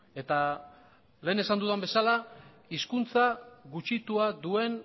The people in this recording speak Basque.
eta lehen esan dudan bezala hizkuntza gutxitua duen